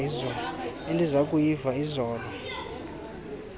endiza kuyiva izolo